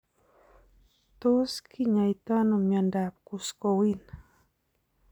Tot kinyaitaano miondab Kuskowin?